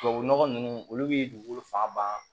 Tubabu nɔgɔ ninnu olu bɛ dugukolo fan ban